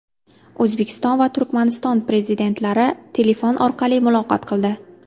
O‘zbekiston va Turkmaniston prezidentlari telefon orqali muloqot qildi.